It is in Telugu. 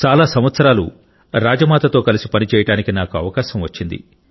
చాలా సంవత్సరాలు రాజమాతతో కలిసి పనిచేయడానికి నాకు అవకాశం వచ్చింది